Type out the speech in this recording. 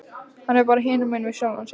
Hann er bara hinumegin við sjálfan sig.